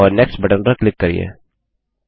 और next button पर click करिये